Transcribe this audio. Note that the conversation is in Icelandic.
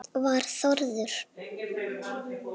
Var Þórður